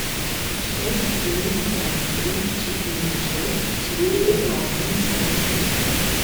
шесть девять пять три четыре шесть четыре один семьдесят пять